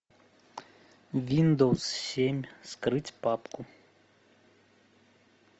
виндовс семь вскрыть папку